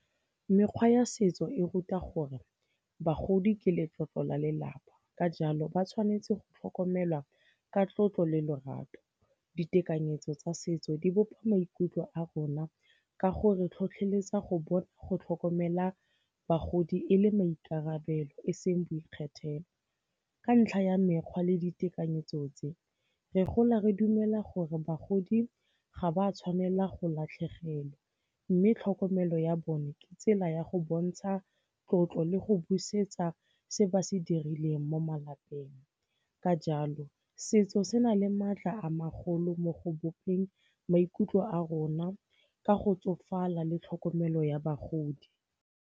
Mekgwa ya setso e ruta gore bagodi ke letlotlo la lelapa, ka jalo ba tshwanetse go tlhokomelwa ka tlotlo le lorato. Ditekanyetso tsa setso di bopa maikutlo a rona ka gore tlhotlheletsa go tlhokomela bagodi e le maikarabelo e seng boikgethelo. Ka ntlha ya mekgwa le ditekanyetso tse, re gola re dumela gore bagodi ga ba tshwanela go latlhegelwa, mme tlhokomelo ya bone ke tsela ya go bontsha tlotlo le go busetsa se ba se dirileng mo malapeng. Ka jalo, setso se na le maatla a magolo mo go bopeng maikutlo a rona ka go tsofala le tlhokomelo ya bagodi.